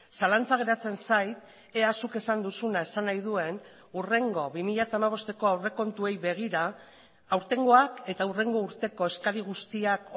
zalantza geratzen zait ea zuk esan duzuna esan nahi duen hurrengo bi mila hamabosteko aurrekontuei begira aurtengoak eta hurrengo urteko eskari guztiak